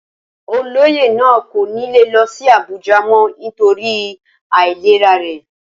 Olóyè náà kò ní lè lọ sí Abuja mọ́ nítorí àìlera rẹ̀